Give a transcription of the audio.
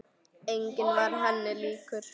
Enginn var henni líkur.